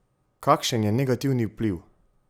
Kakšen je negativni vpliv?